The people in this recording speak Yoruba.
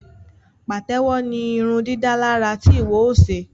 Patewo ní irundidalara tí iwọ o ṣe